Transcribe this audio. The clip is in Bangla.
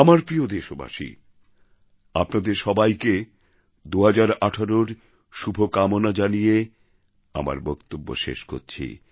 আমার প্রিয় দেশবাসী আপনাদের সবাইকে ২০১৮র শুভকামনা জানিয়ে আমার বক্তব্য শেষ করছি